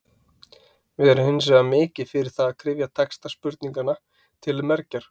Við erum hins vegar mikið fyrir það að kryfja texta spurninganna til mergjar.